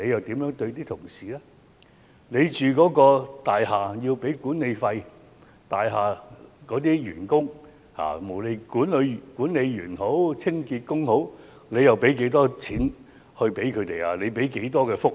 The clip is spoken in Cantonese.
大家要為居所支付管理費，大廈的員工，無論是管理員、清潔工，他們又提供了甚麼福利呢？